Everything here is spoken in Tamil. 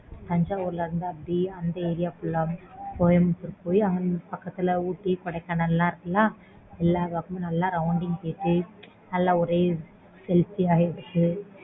thanjavur ல இருந்து அப்பிடியே அந்த area fullcoimbatore போய் பக்கத்துல ooty Kodaikanal லாம் இருக்கு ல